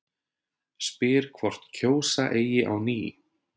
Spyr hvort kjósa eigi á ný